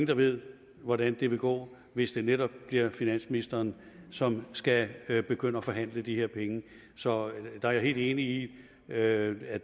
der ved hvordan det vil gå hvis det netop bliver finansministeren som skal skal begynde at forhandle de her penge så jeg er helt enig i at at